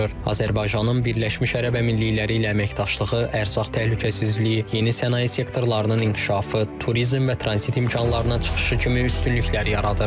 Azərbaycanın Birləşmiş Ərəb Əmirlikləri ilə əməkdaşlığı ərzaq təhlükəsizliyi, yeni sənaye sektorlarının inkişafı, turizm və tranzit imkanlarının çıxışı kimi üstünlüklər yaradır.